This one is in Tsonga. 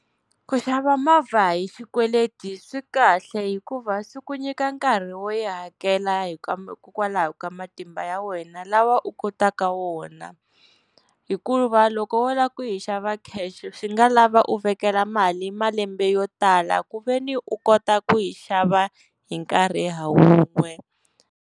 Ku xava movha hi xikweleti swi kahle hikuva swi ku nyika nkarhi wo yi hakela hikokwalaho ka matimba ya wena lawa u kotaka wona. Hikuva loko wo lava ku yi xava cash swi nga lava u vekela mali malembe yo tala, ku veni u kota ku yi xava hi nkarhi ha wun'we.